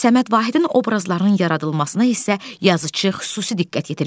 Səməd Vahidin obrazlarının yaradılmasına isə yazıçı xüsusi diqqət yetirmişdi.